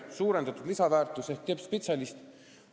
Suuremat lisandväärtust loob tippspetsialist.